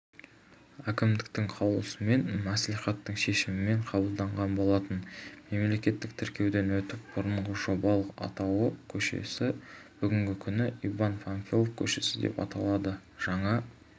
әкімдіктің қаулысымен мәслихаттың шешімімен қабылданған болатын мемлекеттік тіркеуден өтіп бұрынғы жобалық атауы көшесі бүгінгі күні иван панфилов көшесі деп аталады жаңа